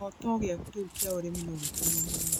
Kĩrooto gĩaku kĩa ũrĩmi rĩu no gĩkinyanĩre